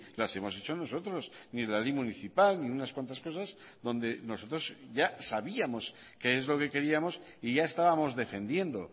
las hemos hecho nosotros ni la ley municipal ni unas cuantas cosas donde nosotros ya sabíamos qué es lo que queríamos y ya estábamos defendiendo